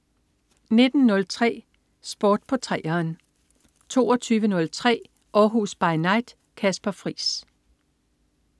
19.03 Sport på 3'eren 22.03 Århus By Night. Kasper Friis